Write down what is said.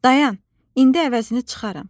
Dayan, indi əvəzini çıxaram.